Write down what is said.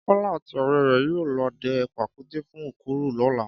Kọ́lá àti ọ̀rẹ́ rẹ̀ yóò lọ dẹ pàkúté fún òkúrù lọ́la